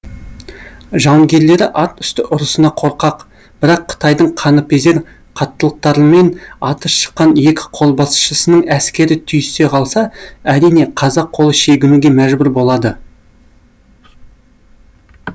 жауынгерлері ат үсті ұрысына қорқақ бірақ қытайдың қаныпезер қаттылықтарымен аты шыққан екі қолбасшысының әскері түйісе қалса әрине қазақ қолы шегінуге мәжбүр болады